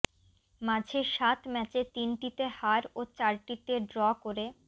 মাঝে সাত ম্যাচে তিনটিতে হার ও চারটিতে ড্র করে